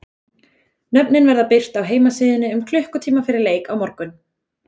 Nöfnin verða birt á heimasíðunni um klukkutíma fyrir leik á morgun.